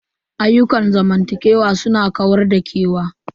Ayyukan zamantakewa su na kawar da kewa.